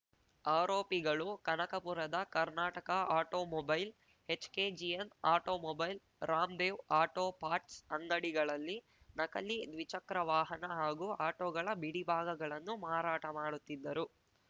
ಆರೋಪಿಗಳು ಕನಕಪುರದ Karnataka automobile HKGN automobile Ram Dev auto parts ಅಂಗಡಿಗಳಲ್ಲಿ ನಕಲಿ ದ್ವಿಚಕ್ರ ವಾಹನ ಹಾಗೂ ಆಟೋಗಳ ಬಿಡಿಭಾಗಗಳನ್ನು ಮಾರಾಟ ಮಾಡುತ್ತಿದ್ದರು